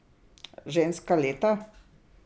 Ženska leta?